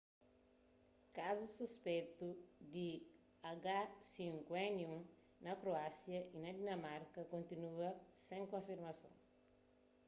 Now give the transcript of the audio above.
kazus suspeitu di h5n1 na kroásia y na dinamarka kontinua sen konfirmason